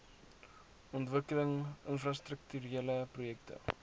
ontwikkeling infrastrukturele projekte